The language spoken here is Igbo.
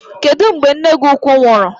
Kedụ mgbe nne gị ukwu nwụrụ?